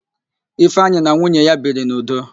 Ifeanyi na nwunye ya biri n'udo.